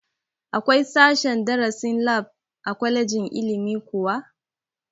Akwai sashen darasin lab a kwalejin ilimi kuwa?